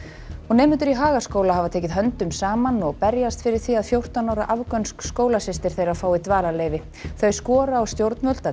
nemendur í Hagaskóla hafa tekið höndum saman og berjast fyrir því að fjórtán ára afgönsk skólasystir þeirra fái dvalarleyfi þau skora á stjórnvöld að